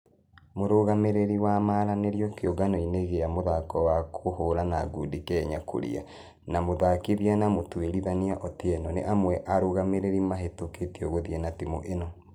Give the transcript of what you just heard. Mũrugamĩrĩri wa maranĩrio kĩũngano-inĩ gĩa mũthako wa kũhũrana ngundi kenya kuria na mũthakithia na mũtũĩrithania otieno nĩ amwe a arũgamĩrĩri mahĩtũkĩtio gũthie na timũ ĩno.